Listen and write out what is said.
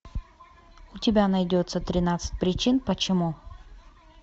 у тебя найдется тринадцать причин почему